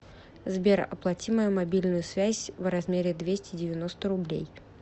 сбер оплати мою мобильную связь в размере двести девяносто рублей